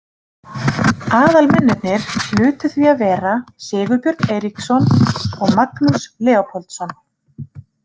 Aðalmennirnir hlutu því að vera Sigurbjörn Eiríksson og Magnús Leópoldsson.